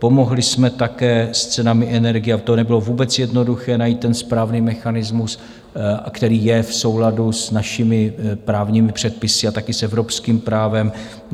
Pomohli jsme také s cenami energií, a to nebylo vůbec jednoduché najít ten správný mechanismus, který je v souladu s našimi právními předpisy a také s evropským právem.